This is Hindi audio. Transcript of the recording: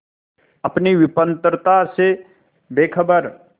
अपनी विपन्नता से बेखबर